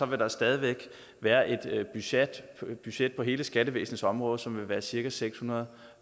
vil der stadig væk være et budget budget på hele skattevæsenets område som vil være cirka seks hundrede